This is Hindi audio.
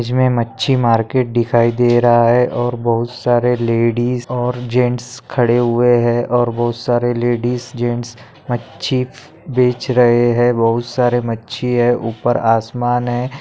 इस मे मच्छी मार्केट दिखाई दे रहा है और बहुत सारे लेडीज और जेन्ट्स खड़े हुए है और बहुत सारे लेडीज और जेन्ट्स मच्छी बेच रहे है बहुत सारे मच्छी है उपर आसमान है।